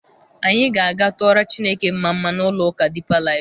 Anyị ga-aga tụọrọ Chineke mmamma n'ụlọ ụka Deeper Life.